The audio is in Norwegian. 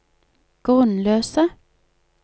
grunnløse